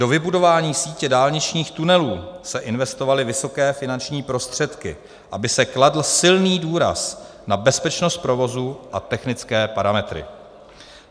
Do vybudování sítě dálničních tunelů se investovaly vysoké finanční prostředky, aby se kladl silný důraz na bezpečnost provozu a technické parametry.